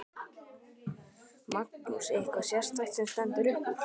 Magnús: Eitthvað sérstakt sem stendur upp úr?